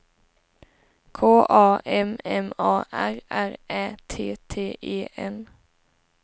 K A M M A R R Ä T T E N